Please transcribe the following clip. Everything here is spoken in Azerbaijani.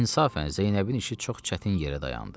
İnsafən Zeynəbin işi çox çətin yerə dayandı.